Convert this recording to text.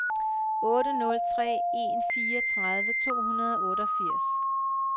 otte nul tre en fireogtredive to hundrede og otteogfirs